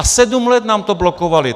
A sedm let nám to blokovali!